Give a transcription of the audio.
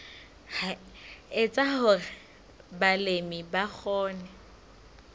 etsa hore balemi ba kgone